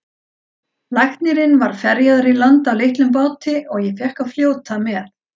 Læknirinn var ferjaður í land á litlum báti og ég fékk að fljóta með.